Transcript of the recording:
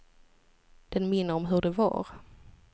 Den minner om hur det var.